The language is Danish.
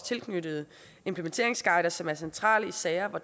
tilknyttede implementeringsguider som er centrale i sager hvor